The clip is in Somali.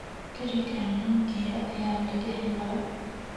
Garigan Nokia aya lakahela.